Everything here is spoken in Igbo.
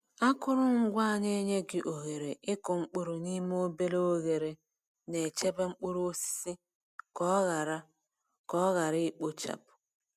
Akụrụngwa a na-enye gị ohere ịkụ mkpụrụ n'ime obere oghere na-echebe mkpụrụ osisi ka ọ ghara ka ọ ghara ikpochapụ.